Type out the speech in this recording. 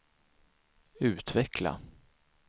utveckla